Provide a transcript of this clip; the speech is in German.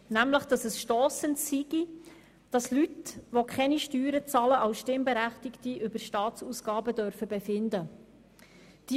Nämlich dass es stossend sei, wenn Leute, die keine Steuern zahlen, als Stimmberechtigte über Staatsausgaben befinden dürfen.